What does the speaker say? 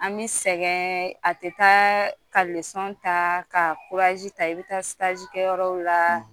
An bɛ sɛgɛn a tɛ taa ka ta ka ta i bɛ taa kɛyɔrɔw la.